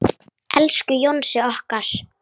Elsku Jónsi okkar.